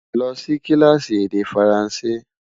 lọ Si kilaasi èdè faransé